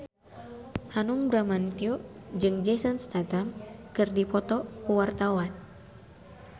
Hanung Bramantyo jeung Jason Statham keur dipoto ku wartawan